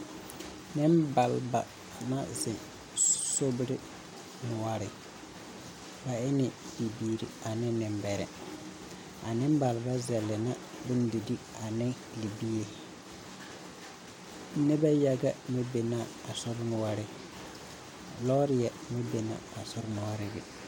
Nebaleba na zeŋ sobire nuore. Ba ene bibiire ane nebɛrɛ. A nebaleba zɛle na bondire ane lebie. Nebɛ yaga meŋ be na a sornuore. Lɔɔre meŋ be na a sornuore be